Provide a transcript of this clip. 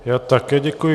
Já také děkuji.